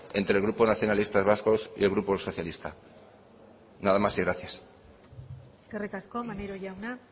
entre el grupo nacionalistas vascos y el grupo socialista nada más y gracias eskerrik asko maneiro jauna